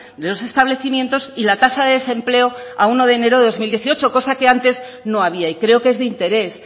de los establecimientos y la tasa de desempleo a uno de enero de dos mil dieciocho cosa que antes no había y creo que es de interés